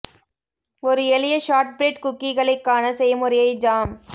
ஒரு எளிய ஷார்ட்பிரெட் குக்கீகளை க்கான செய்முறையை ஜாம்